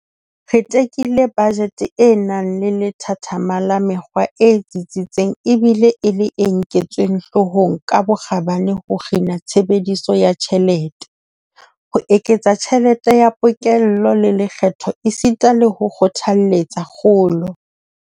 Re tekile bajete e nang le lethathama la mekgwa e tsitsitseng ebile e le e nketsweng hloohong ka bokgabane ho kgina tshebediso ya tjhelete, ho eketsa tjhelete ya pokello ya lekgetho esita le ho kgothaletsa kgolo.